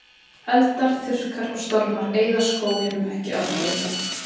Eldar, þurrkar og stormar eyða skóginum ekki algjörlega.